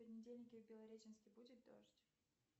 в понедельник в белореченске будет дождь